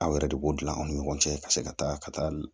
Aw yɛrɛ de b'o dilan an ni ɲɔgɔn cɛ ka se ka taa ka taa